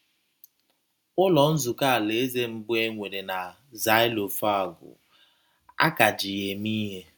Ụlọ Nzukọ Alaeze mbụ e nwere na Xylophagou, a ka ji ya eme ihe